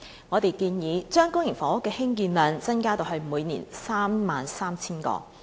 我們建議將公營房屋的興建量增加至每年 33,000 個。